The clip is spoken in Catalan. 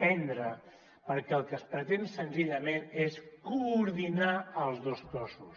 prendre perquè el que es pretén senzillament és coordinar els dos cossos